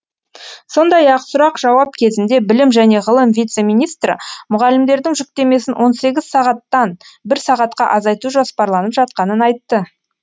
сондай ақ сұрақ жауап кезінде білім және ғылым вице министрі мұғалімдердің жүктемесін он сегіз сағаттан бір сағатқа азайту жоспарланып жатқанын айтты